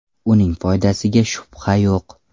Uning foydasiga shubha yo‘q.